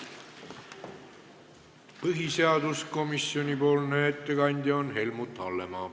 Põhiseaduskomisjoni ettekandja on Helmut Hallemaa.